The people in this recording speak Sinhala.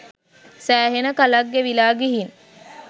සෑහෙන කලක් ගෙවිලා ගිහින්.